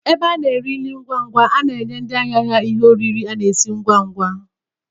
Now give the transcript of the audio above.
Ebe a na-ere nri ngwangwa na-enye ndị ahịa ha ihe oriri a na-esi ngwangwa.